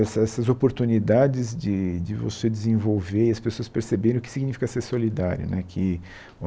Essas essas oportunidades de de você desenvolver e as pessoas perceberem o que significa ser solidário né que